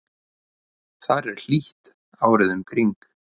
þar er hlýtt árið um kring